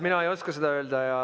Mina ei oska seda öelda.